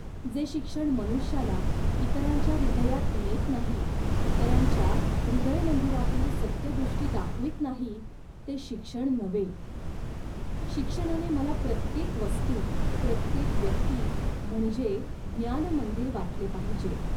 जे शिक्षण मनुष्याला इतरांच्या हृदयात नेत नाही, इतरांच्या हृदयमंदिरातील सत्यदृष्टी दाखवीत नाही, ते शिक्षण नव्हे. शिक्षणाने मला प्रत्येक वस्तू, प्रत्येक व्यक्ती म्हणजे ज्ञानमंदिर वाटले पाहिजे